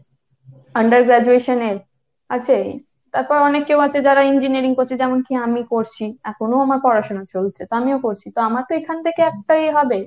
under graduation এর আছে, তারপর অনেক কেউ আছে যারা engineering পড়ছে, যেমন কী আমি পড়ছি। এখনো আমার পড়া সোনা চলছে তো আমিও পড়ছি, তো আমার তো এখান থেকে একটা ইয়ে হবে।